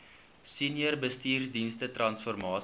senior bestuursdienste transformasie